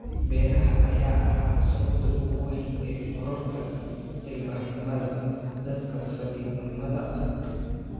Beeraha ayaa ahaa sababta ugu weyn ee kororka ilbaxnimada dadka fadhiidnimada ah